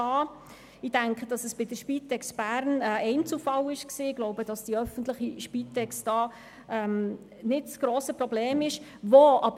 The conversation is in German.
Denn ich denke, dass es sich bei der Spitex Bern um einen Einzelfall handelte und die öffentliche Spitex nicht das grosse Problem war.